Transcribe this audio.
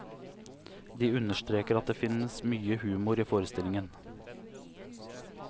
De understreker at det finnes mye humor i forestillingen.